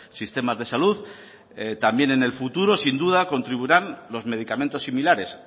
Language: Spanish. sistemas de salud también en el futuro sin duda contribuirán los medicamentos similares